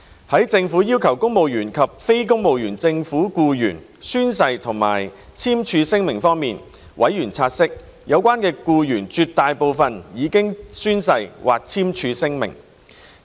在政府要求公務員及非公務員政府僱員宣誓或簽署聲明方面，委員察悉，有關僱員絕大部分已經宣誓或簽署聲明。